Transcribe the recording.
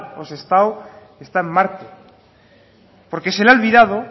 o sestao está en marte porque se le ha olvidado